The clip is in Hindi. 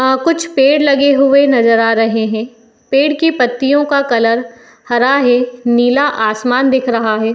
आ- कुछ पेड़ लगे हुए नज़र आ रहे हैं। पेड़ की पत्तियों का कलर हरा है। नीला आसमान दिख रहा है।